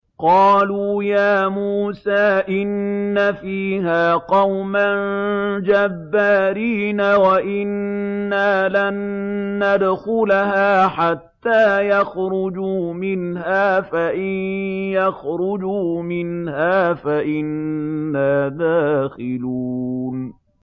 قَالُوا يَا مُوسَىٰ إِنَّ فِيهَا قَوْمًا جَبَّارِينَ وَإِنَّا لَن نَّدْخُلَهَا حَتَّىٰ يَخْرُجُوا مِنْهَا فَإِن يَخْرُجُوا مِنْهَا فَإِنَّا دَاخِلُونَ